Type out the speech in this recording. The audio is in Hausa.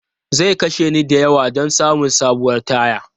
Zai kashe ni da yawa don samun sabuwar taya.